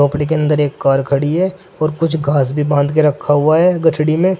मड़ीई के अंदर एक कार खड़ी है और कुछ घास भी बांध के रखा हुआ है गठरी में।